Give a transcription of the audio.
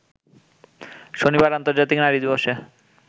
শনিবার আর্ন্তজাতিক নারী দিবসে